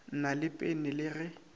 na le pene le ge